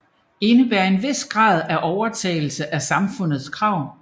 Indebærer en vis grad af overtagelse af samfundets krav